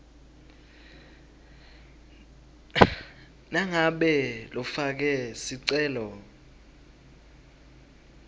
nangabe lofake sicelo